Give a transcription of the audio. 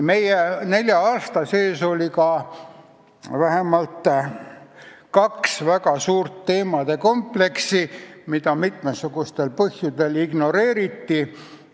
Meie nelja aasta sees oli ka vähemalt kaks väga suurt teemade kompleksi, mida mitmesugustel põhjustel ignoreeriti.